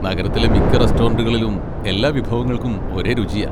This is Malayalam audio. നഗരത്തിലെ മിക്ക റെസ്റ്റോറന്റുകളിലും എല്ലാ വിഭവങ്ങൾക്കും ഒരേ രുചിയാ.